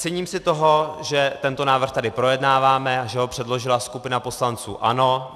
Cením si toho, že tento návrh tady projednáváme a že ho předložila skupina poslanců ANO.